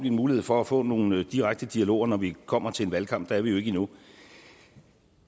en mulighed for at få nogle direkte dialoger når vi kommer til en valgkamp er vi jo ikke endnu